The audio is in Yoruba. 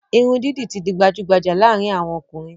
Irun didi ti di gbajugbaja laarin awon okunrin